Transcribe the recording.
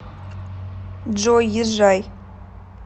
джой езжай